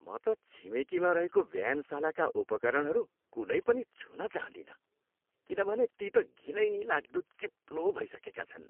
म त छिमेकीमा रहेको व्यायामशालाका उपकरणहरू कुनै पनि छुन चाहँदिनँ किनभने ती त घिनैलाग्दो चिप्लो भइसकेका छन्।